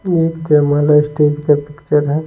ये स्टेज का पिक्चर है।